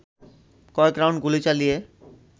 কয়েক রাউন্ড গুলি চালিয়ে